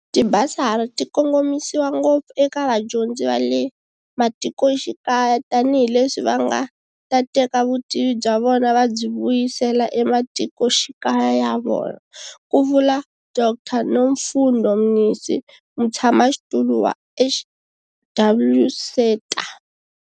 Tibasari ti kongomisiwa ngopfu eka vadyondzi va le matikoxikaya tanihileswi va nga ta teka vutivi bya vona va byi vuyisela ematikoxikaya ya vona, ku vula Dr Nomfundo Mnisi, Mutshamaxitulu wa HWSETA.